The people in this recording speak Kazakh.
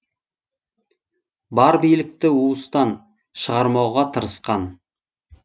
бар билікті уыстан шығармауға тырысқан